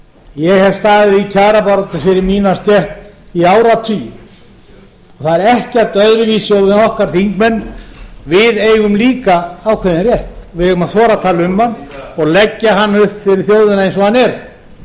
ég hef staðið í kjarabaráttu fyrir mína stétt í áratugi og það er ekkert öðruvísi okkur þingmenn við eigum líka ákveðinn rétt við eigum að þora að tala um hann og leggja hann upp fyrir þjóðina eins og hann